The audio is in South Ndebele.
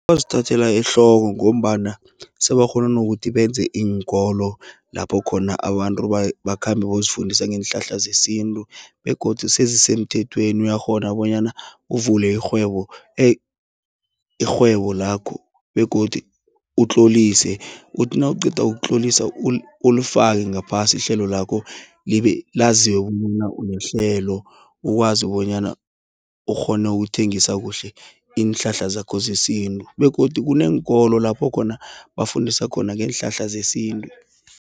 Bazithathela ehloko ngombana, sebakghona nokuthi benze iinkolo, lapho khona abantu bakhambe bayozifundisa ngeenhlahla zesintu, begodu sezisemthethweni, uyakghona bonyana uvule irhwebo lakho, begodu utlolise, uthi nawuqeda ukutlolisa ulifake ngaphasi ihlelo lakho, laziwe unehlelo. Ukwazi bonyana ukghone ukuthengisa kuhle, iinhlahla zakho zesintu, begodu kuneenkolo lapho khona, bafundisa khona ngeenhlahla zesintu.